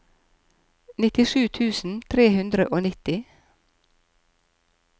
nittisju tusen tre hundre og nitti